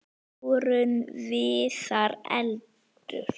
Jórunn Viðar: Eldur.